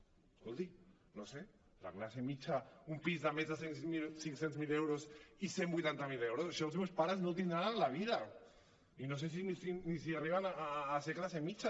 escolti no ho sé la classe mitjana un pis de més de cinc cents miler euros i cent i vuitanta miler euros això els meus pares no ho tindran en la vida i no sé ni si arriben a ser classe mitjana